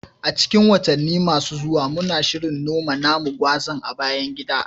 A cikin watanni masu zuwa, muna shirin noma namu gwazan a bayan gida